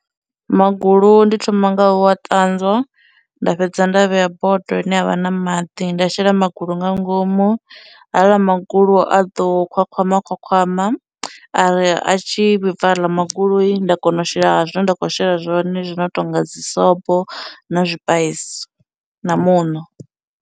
Magulu ndi thoma nga u a ṱanzwa nda fhedza nda vhea bodo ine yavha na maḓi, nda shela magulu nga ngomu, haaḽa magulu a ḓo khwakhwama khwakhwama, ari a tshi vhibva haḽa magulu nda kona u shela zwine nda khou shela zwone zwi no tonga dzisobo, na zwipaisi, na muṋo.